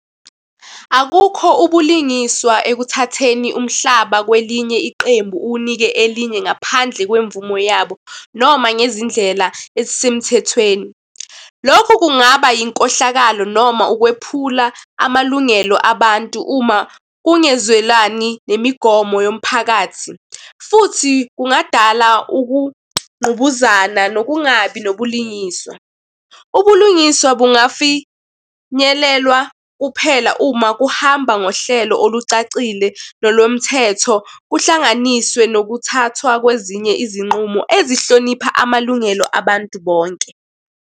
Akukho ubulingiswa ekuthatheni umhlaba kwelinye iqembu uwunike elinye ngaphandle kwemvumo yabo, noma ngezindlela ezisemthethweni. Lokho kungaba yinkohlakalo noma ukwephula amalungelo abantu uma kungezwelani nemigomo yomphakathi, futhi kungadala ukungqubuzana nokungabi nobulungiswa. Ubulungiswa bungafinyelelwa kuphela uma kuhamba ngohlelo olucacile nolomthetho, kuhlanganiswe nokuthathwa kwezinye izinqumo ezihlonipha amalungelo abantu bonke.